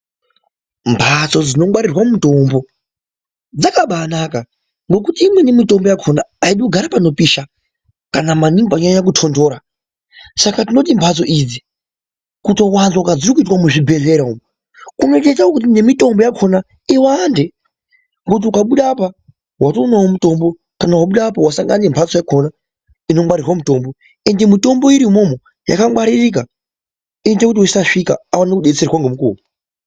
Mphatso dzinongwaririrwa mutombo dzakabaanaka ngekuti imweni mitombo yakhona aidi kugara panopisha kana maningi panonyanya kutontora saka tinoti mphatso idzi kutowanzwa kwedziri kuita tirikuzwa muzvibhedhlera umu inotoita kuti nemitombo yakhona iwande ngokuti ukabuda apa watonawo mutombo ukabuda apa wasangana nemphatso yakhona inongwaririrwa mutombo ende mitombo iri umwomwo yakangwaririka inoita kuti wese wasvika aone kudetserwa ngemukuwo.